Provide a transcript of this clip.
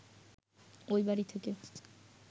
ঐ বাড়ি থেকে